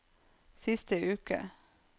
siste uke